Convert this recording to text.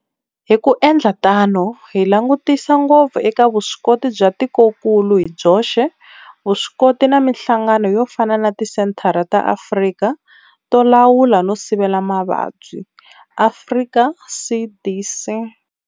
Hi ku endla tano hi langutisa ngopfu eka vuswikoti bya tikokulu hi byoxe, vuswikoti na mihlangano yo fana na Tisenthara ta Afrika to Lawula no Sivela Mavabyi, Afrika CDC.